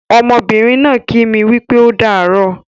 Ọmọbìnrin náà ń kí mi wípé ódààrọ́